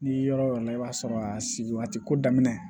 N'i yɔrɔ yɔrɔ la i b'a sɔrɔ a sigi a tɛ ko daminɛ